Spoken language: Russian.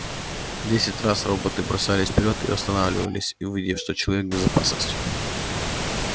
десять раз роботы бросались вперёд и останавливались увидев что человек в безопасности